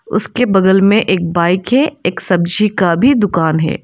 उसके बगल में एक बाइक है। एक सब्जी का भी दुकान है।